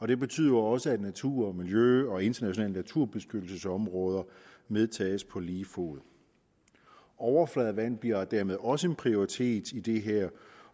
det betyder også at natur og miljø og internationale naturbeskyttelsesområder medtages på lige fod overfladevand bliver dermed også en prioritet i det her